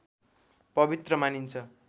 पवित्र मानिन्छ